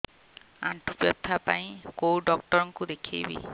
ଆଣ୍ଠୁ ବ୍ୟଥା ପାଇଁ କୋଉ ଡକ୍ଟର ଙ୍କୁ ଦେଖେଇବି